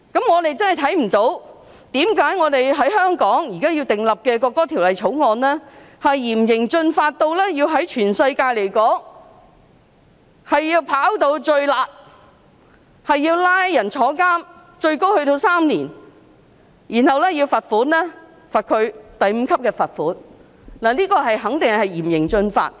我們真的看不到為何香港現時訂立的《條例草案》，要嚴刑峻法到屬全世界最"辣"，要判處最高3年的監禁，並要判處第5級罰款，這肯定是嚴刑峻法。